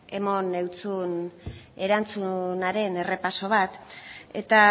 eman zizun erantzunaren errepaso bat eta